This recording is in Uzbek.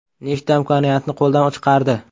Nechta imkoniyatni qo‘ldan chiqardi.